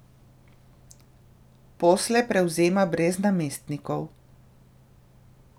Posle prevzema brez namestnikov.